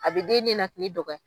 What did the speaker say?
A bɛ den ninakili dɔgɔya.